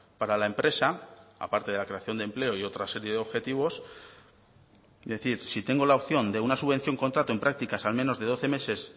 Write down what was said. para la empresa aparte de la creación de empleo y otra serie de objetivos decir si tengo la opción de una subvención contrato en prácticas al menos de doce meses